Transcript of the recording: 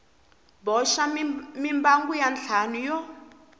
boxa mimbangu ya ntlhanu yo